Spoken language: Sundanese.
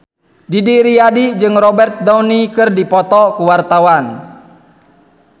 Didi Riyadi jeung Robert Downey keur dipoto ku wartawan